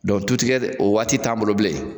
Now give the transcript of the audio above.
tu tigɛ, o waati t'anw bolo bilen .